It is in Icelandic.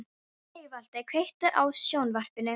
Sigvaldi, kveiktu á sjónvarpinu.